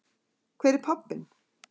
Hver er pabbinn?